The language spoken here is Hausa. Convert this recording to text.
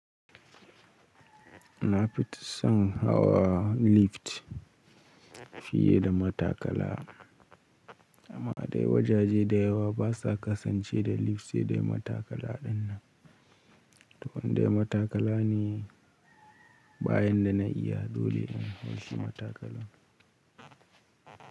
Na fi son hawa lift fiye da matakala, amma dai wajaje dayawa ba sa kasance da lift sai dai matakala dinnan. To wanda matakala ne bayan da na iya dole in hau shi matakala.